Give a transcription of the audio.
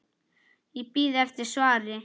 Ég bíð eftir svari.